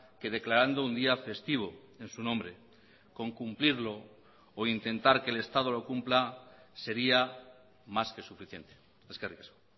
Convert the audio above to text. que declarando un día festivo en su nombre con cumplirlo o intentar que el estado lo cumpla sería más que suficiente eskerrik asko